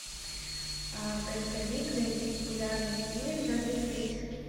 поисковик найди популярный фильм в жанре исторический